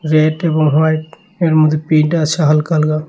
মনে হয় এর মধ্যে প্রিন্ট আছে হালকা হালকা।